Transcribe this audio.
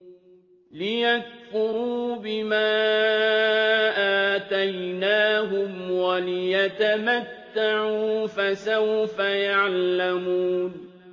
لِيَكْفُرُوا بِمَا آتَيْنَاهُمْ وَلِيَتَمَتَّعُوا ۖ فَسَوْفَ يَعْلَمُونَ